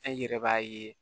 An yɛrɛ b'a ye